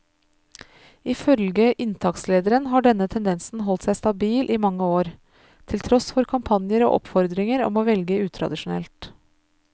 Ifølge inntakslederen har denne tendensen holdt seg stabil i mange år, til tross for kampanjer og oppfordringer om å velge utradisjonelt.